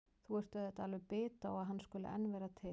Þú ert auðvitað alveg bit á að hann skuli enn vera til.